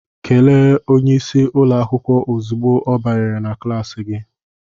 Kelee onye isi ụlọ akwụkwọ ozugbo ọ banyere na klas gị!